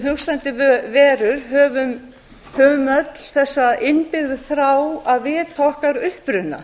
hugsandi verur höfum öll þessa innbyggðu þrá að vita okkar uppruna